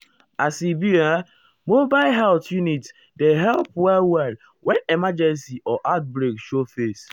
as e be um mobile health unit dey help help well-well when emergency or outbreak show face.